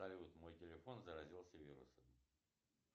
салют мой телефон заразился вирусом